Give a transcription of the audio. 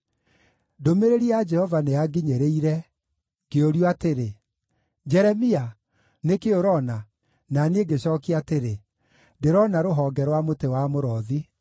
Ndũmĩrĩri ya Jehova nĩyanginyĩrire, ngĩũrio atĩrĩ: “Jeremia, nĩ kĩĩ ũroona?” Na niĩ ngĩcookia atĩrĩ, “Ndĩrona rũhonge rwa mũtĩ wa mũrothi.”